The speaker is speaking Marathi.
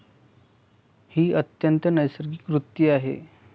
ही अत्यंत नैसर्गिक वृत्ती आहे.